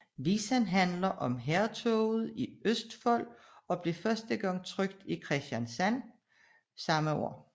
Visen handler om hærtoget i Østfold og blev første gang trykket i Kristiansand samme år